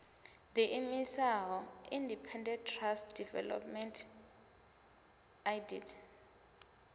ḓiimisaho independent trust development idt